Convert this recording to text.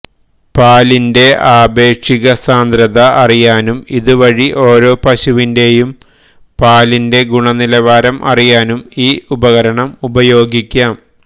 പാലിന്റെ ആപേക്ഷികസാന്ദ്രത അറിയാനും ഇതുവഴി ഓരോ പശുവിന്റെയും പാലിന്റെ ഗുണനിലവാരം അറിയാനും ഈ ഉപകരണം ഉപയോഗിക്കാം